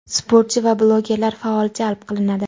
sportchi va blogerlar faol jalb qilinadi.